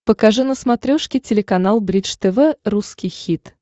покажи на смотрешке телеканал бридж тв русский хит